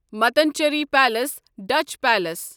Mattancherry palace Dutch palace